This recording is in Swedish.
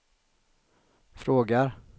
frågar